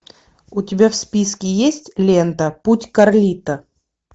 у тебя в списке есть лента путь карлито